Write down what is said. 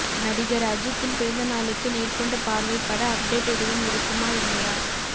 நடிகர் அஜித்தின் பிறந்தநாளுக்கு நேர்கொண்ட பார்வை பட அப்டேட் எதுவும் இருக்குமா இல்லையா